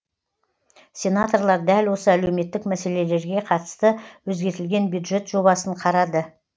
сенаторлар дәл осы әлеуметтік мәселелерге қатысты өзгертілген бюджет жобасын қарады